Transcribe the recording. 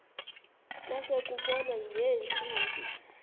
kwase kubonwa ngeentsimbi